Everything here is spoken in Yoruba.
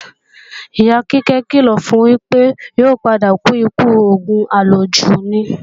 Ìyá Kíkẹ́ kìlọ̀ fun wípé, yóò padà kú ikú òògùn àlòjù ni